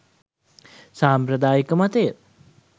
සාම්ප්‍රදායික මතය